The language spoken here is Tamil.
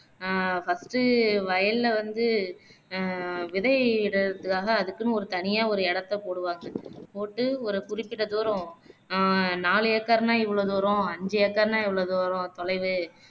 ஆஹ் first உ வயல்ல வந்து அஹ் விதையிடுறதுக்காக அதுக்குன்னு ஒரு தனியா ஒரு இடத்த போடுவாங்க போட்டு ஒரு குறிப்பிட்ட தூரம் அஹ் நாலு acre னா இவ்வளவு தூரம் ஐந்து acre னா இவ்வளோ தூரம் தொலைவு